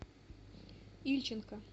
ильченко